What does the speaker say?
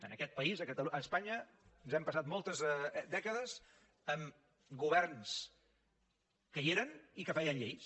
en aquest país a espanya ens hem passat moltes dècades amb governs que hi eren i que feien lleis